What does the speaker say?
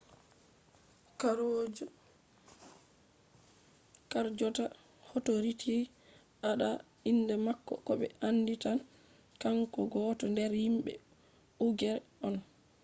harjonta authorities andaa inde mako ko be andi tan kanko gooto nder himbe uigher on